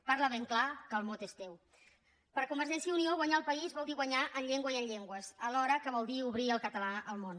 parla ben clar que el mot és teu per convergència i unió guanyar el país vol dir guanyar en llengua i en llengües alhora que vol dir obrir el català al món